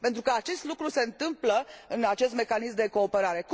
Pentru că acest lucru se întâmplă în acest mecanism de cooperare.